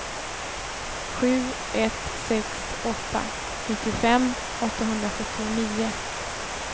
sju ett sex åtta nittiofem åttahundrasjuttionio